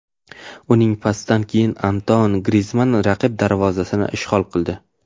Uning pasidan keyin Antuan Grizmann raqib darvozasini ishg‘ol qildi.